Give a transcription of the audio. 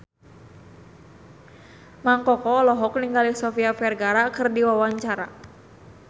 Mang Koko olohok ningali Sofia Vergara keur diwawancara